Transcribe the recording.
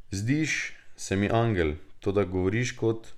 Zdiš se mi angel, toda govoriš kot ...